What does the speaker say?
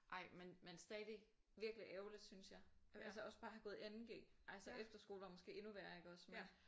Ej men men stadig virkelig ærgerligt synes jeg altså også bare at have gået i 2.g altså efterskole var måske endnu værre iggås men